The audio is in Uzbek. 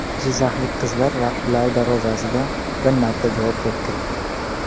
Jizzaxlik qizlar raqibalari darvozasiga bir marta javob to‘pi kiritdi.